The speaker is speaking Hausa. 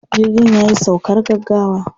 Jirgin ya yi saukar gaggawa.